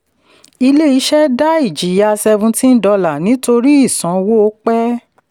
ilé-iṣẹ́ dá ìjìyà seventeen dollars nítorí ìsanwó pẹ̀.